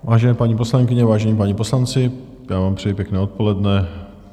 Vážené paní poslankyně, vážení páni poslanci, já vám přeji pěkné odpoledne.